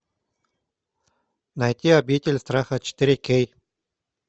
найти обитель страха четыре кей